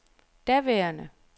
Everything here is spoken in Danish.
daværende